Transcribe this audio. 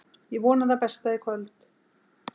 Ég vona það besta í kvöld.